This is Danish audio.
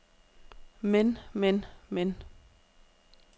men men men